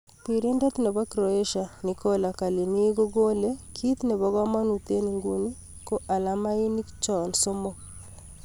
Pirindet nebo Croatia Nikola Kalini kokale: "Kit nebo kamanut eng nguni ko alamainik cho somok."